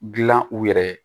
Gilan u yɛrɛ ye